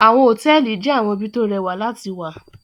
Àwọn hotẹẹli jẹ awọn ibi to o rẹwạ lati wạ